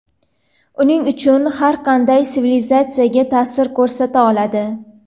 Uning kuchi har qanday sivilizatsiyaga ta’sir ko‘rsata oladi.